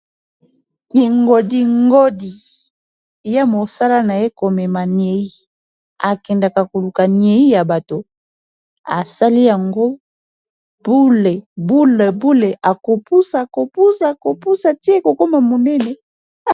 kingodingodi ya mosala na ye komema niei akendaka koluka niei ya bato esali yango bule bule bule akopusa kopusa akopusa tie kokoma monene